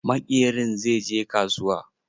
Maƙerin zai je kasuwa.